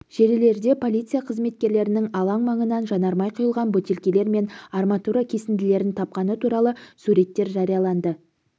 желілерде полиция қызметкерлерінің алаң маңынан жанармай құйылған бөтелкелер мен арматура кесінділерін тапқаны туралы суреттер жарияланды